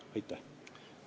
Aitäh!